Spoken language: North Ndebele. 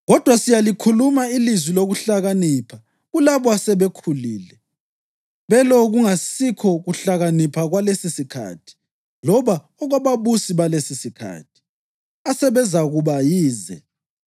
Kodwa siyalikhuluma ilizwi lokuhlakanipha kulabo asebekhulile, belo kungasikho kuhlakanipha kwalesisikhathi loba okwababusi balesisikhathi, asebezakuba yize.